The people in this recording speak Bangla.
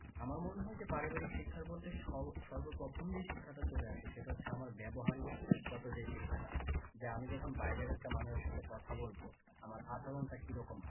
আমার মনে হয় যে পারিবারিক শিক্ষা বলতে সর্বপ্রথম যেই শিক্ষাটা চলে আসে সেটা আমার ব্যবহারিক গত যে শিক্ষাটা যে আমি যখন বাইরের একটি মানুষের সাথে কথা বলবো আমার আচরনটা কি রকম হবে?